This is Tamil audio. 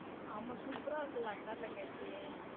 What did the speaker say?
ஆமா super ஆ இருக்கும்ல அக்கா தங்கச்சி.